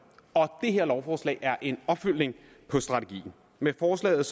og det her lovforslag er en opfølgning på strategien med forslaget